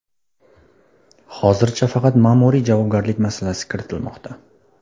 Hozircha faqat ma’muriy javobgarlik masalasi kiritilmoqda.